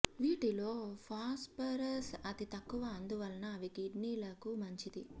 వీటిలో ఫాస్ఫరస్ అతి తక్కువ అందువలన అవి కిడ్నీ లకు మంచిది